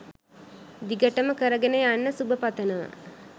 දිගටම කරගන යන්න සුබ පතනවා.